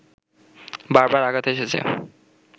বারবার আঘাত এসেছে